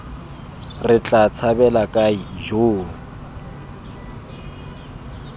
re tla tshabela kae ijoo